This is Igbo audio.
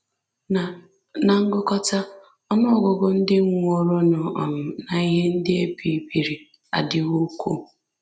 Ná Ná ngụkọta, ọnụ ọgụgụ ndị nwụworonụ um na ihe ndị e bibiri adịwo ukwuu.